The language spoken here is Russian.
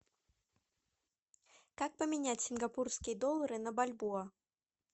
как поменять сингапурские доллары на бальбоа